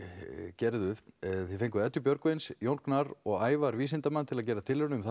gerðuð þið fenguð Eddu Björgvins Jón Gnarr og Ævar vísindamann til að gera tilraun um